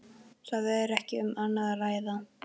Það er ekki um annað að ræða.